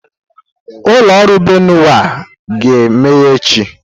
Ụlọ ọrụ Benue a ga-emeghe echi?